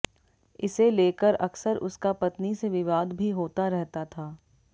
इसे लेकर अक्सर उसका पत्नी से विवाद भी होता रहता था